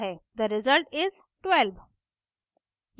the result is: 12